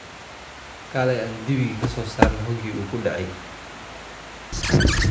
Kaley aan dibiki kasosarnex hoogi uukudecey .